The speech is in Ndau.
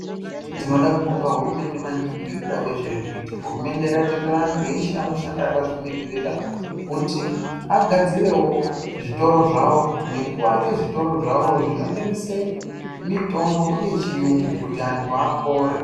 Tinoda kubonga hurumende maningi ngekuda kwezvairi kuita ,hurumende yakatendera antu eshe anoshanda akzvimiririra kuti agadzirewo zvitoro zvawo nekuake zvitoro zvawo zvinotengese mitombo yechiyungu kuti antu apore.